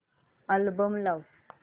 album लाव